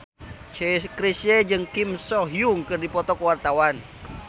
Chrisye jeung Kim So Hyun keur dipoto ku wartawan